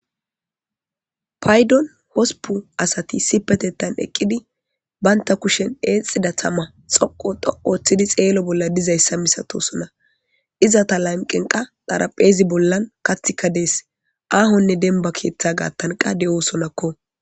paydon hosupu asati sipetettan eqqidi baynta kushen eexida tama xoqo dhoqu ththidi xeelo bolla dizayssa misatosona iza ta lanqenqa dharapheezi bollan kathikka dees aahonne denba keeththa gaattanqa de'sonakko.